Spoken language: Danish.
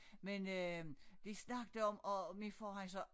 Men øh men vi snakkede om og min far han sagde